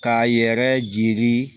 K'a yɛrɛ jiri